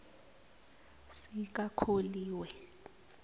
sikakholiwe